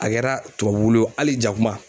A kɛra tubabuwulu ye wo hali ja kuma